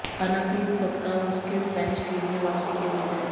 हालांकि इस सप्ताह उनके स्पेनिश टीम में वापसी की उम्मीद है